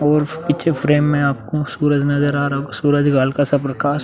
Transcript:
और पीछे फ्रेम में आपको सूरज नज़र आ रहा सूरज गाल का स प्रकाश --